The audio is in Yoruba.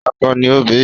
Akọ ni o bí.